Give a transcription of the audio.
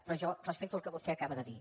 però jo respecto el que vostè acaba de dir